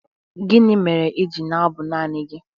Gịnị mere i ji na-abụ naanị gị?